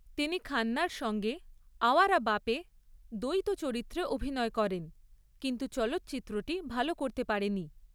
তিনি খান্নার সঙ্গে 'আওয়ারা বাপে' দ্বৈত চরিত্রে অভিনয় করেন, কিন্তু চলচ্চিত্রটি ভাল করতে পারেনি।